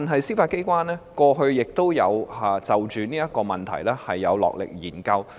司法機構過去亦曾就此問題落力研究。